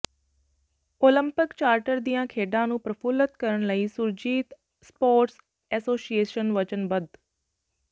Olympic charter ਦੀਆਂ ਖੇਡਾਂ ਨੂੰ ਪ੍ਰਫੁੱਲਤ ਕਰਨ ਲਈ ਸੁਰਜੀਤ ਸਪੋਰਟਸ ਐਸੋਸੀਏਸ਼ਨ ਵਚਨਬੱਧ